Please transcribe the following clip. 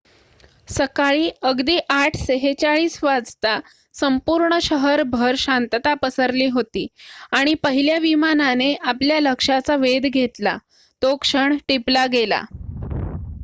सकाळी अगदी 8:46 वाजता संपूर्ण शहरभर शांतता पसरली होती आणि पहिल्या विमानाने आपल्या लक्षाचा वेध घेतला तो क्षण टिपलागेला